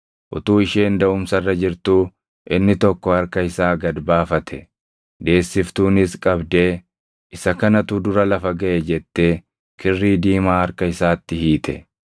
Utuu isheen daʼumsa irra jirtuu inni tokko harka isaa gad baafate; deessiftuunis qabdee, “Isa kanatu dura lafa gaʼe” jettee kirrii diimaa harka isaatti hiite.